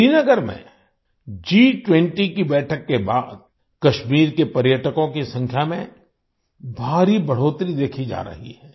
श्रीनगर में G20 की बैठक के बाद कश्मीर के पर्यटकों की संख्या में भारी बढ़ोतरी देखी जा रही है